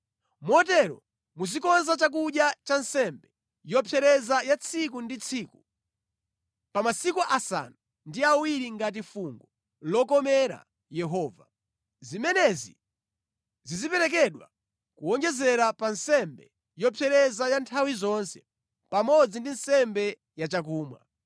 Motere muzikonza chakudya cha nsembe yopsereza ya tsiku ndi tsiku pa masiku asanu ndi awiri ngati fungo lokomera Yehova. Zimenezi ziziperekedwa kuwonjezera pa nsembe yopsereza ya nthawi zonse pamodzi ndi nsembe yachakumwa.